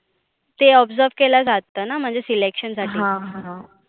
ते observe केलं जातंना म्हणजे selection साठी. हा हा.